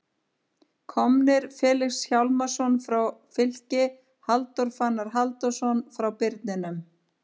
Komnir: Felix Hjálmarsson frá Fylki Halldór Fannar Halldórsson frá Birninum